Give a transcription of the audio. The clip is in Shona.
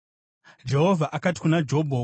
Jehovha akati kuna Jobho: